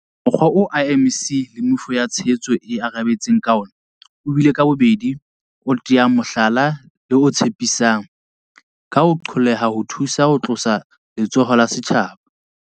Mokgwa oo IMC le meifo ya tshehetso e arabetseng ka ona o bile ka bobedi o teyang mohlala le o tshepisang, ka ho qolleha ho thusa ho tlosa letshoho la setjhaba.